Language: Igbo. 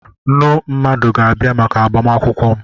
Nnu mmadụ ga-abịa maka agbamakwụkwọ m.